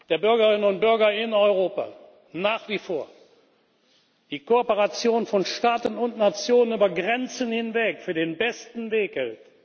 der Bürgerinnen und Bürger in Europa nach wie vor die Kooperation von Staaten und Nationen über Grenzen hinweg für den besten Weg hält.